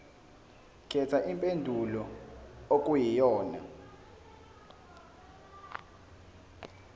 khetha impendulo okuyiyona